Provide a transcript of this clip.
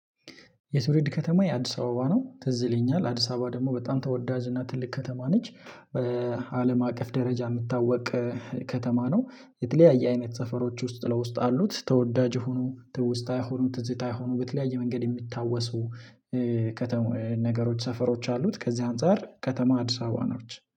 የትውልድ ከተማዬ አዲስ አበባ ነው ትዝ ይለኛል አዲስ አበባ ደግሞ በጣም ተወዳጅና ትልቅ ከተማ ነች። አለም አቀፍ ደረጃ የምታወቅ። ከተማ ነው። የተለያየ አይነት ሰፈሮች ውስጥ ለውስጥ አሉት ተወዳጅ የሆኑ ትውስታ የሆኑ ትዝታ የሆኑ በተለያየ መንገድ የሚታወሱ። ከተማ ነገሮች ሰፈሮች አሉት ከዚህ አንፃር ከተማ አዲስ አበባ ነች